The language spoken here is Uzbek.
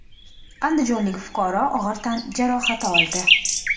andijonlik fuqaro og‘ir tan jarohati oldi.